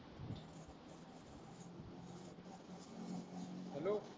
hello